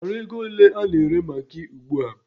Ị maara ego ole a na-ere magị ugbua?